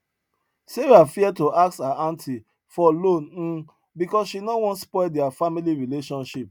sarah fear to ask her aunty for loan um because she no wan spoil their family relationship